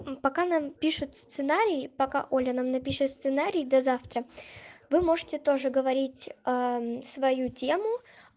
пока нам пишут сценарий пока оля нам напишет сценарий до завтра вы можете тоже говорить свою тему